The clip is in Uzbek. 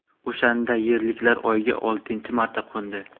O‘shanda yerliklar Oyga oltinchi marta qo‘ndi.